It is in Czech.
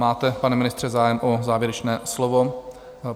Máte, pane ministře, zájem o závěrečné slovo?